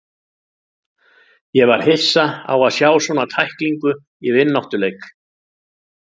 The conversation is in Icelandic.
Ég var hissa á að sjá svona tæklingu í vináttuleik.